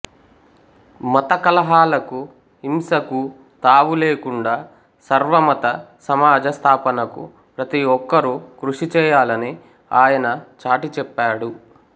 మత కలహాలకు హింసకూ తావులేకుండా సర్వమత సమాజ స్థాపనకు ప్రతి ఒక్కరూ కృషి చేయాలని ఆయన చాటి చెప్పాడు